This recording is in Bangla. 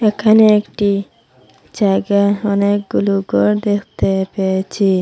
এখানে একটি জায়গা অনেকগুলো ঘর দেখতে পেয়েছি।